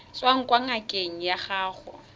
tswang kwa ngakeng ya gago